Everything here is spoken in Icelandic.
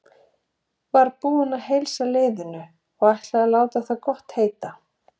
Var búinn að heilsa liðinu og ætlaði að láta það gott heita.